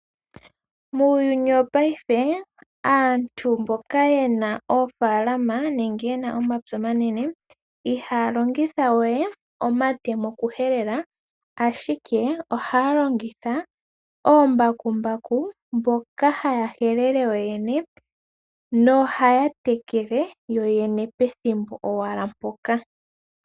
Muuyuni wopayife aantu mboka yena oofaalama nenge yena omapya omanene, ihaya longitha we omatemo okuhelela, ashike ohaya longitha oombakumbaku mboka haya helele yoyene, nohaya tekele yoyene pethimbo owala mpoka.